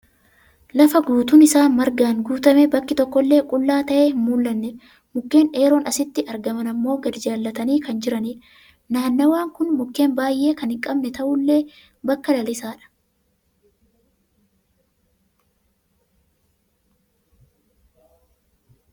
Lafa guutuun isaa margaan guutamee bakki tokkollee qullaa ta'ee hin mul'annedha. Mukkeen dheeroon asitti argaman ammoo gadi jallatanii kan jiraniidha. Naanawaan kun mukkeen baay'ee kan hin qabne ta'ullee bakka lalisaadha.